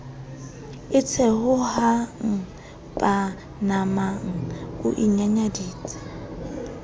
e theohang panama o inyanyaditse